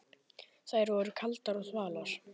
Þær voru kaldar og þvalar.